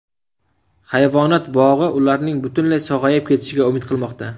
Hayvonot bog‘i ularning butunlay sog‘ayib ketishiga umid qilmoqda.